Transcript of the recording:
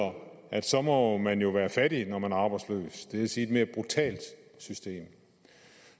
at så må man jo være fattig når man er arbejdsløs det vil sige et mere brutalt system